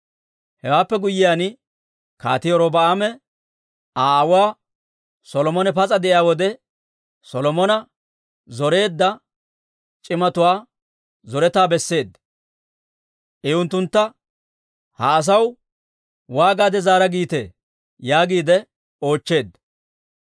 Hewaappe guyyiyaan Kaatii Robi'aame Aa aawuu Solomone pas'a de'iyaa wode, Solomona zoreedda c'imatuwaa zoretaa besseedda. I unttuntta, «Ha asaw waagaade zaara giitee?» yaagiide oochcheedda.